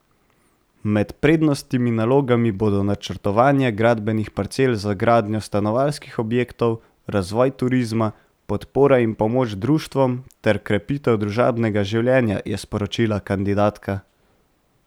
Med prednostnimi nalogami bodo načrtovanje gradbenih parcel za gradnjo stanovanjskih objektov, razvoj turizma, podpora in pomoč društvom ter krepitev družabnega življenja, je sporočila kandidatka.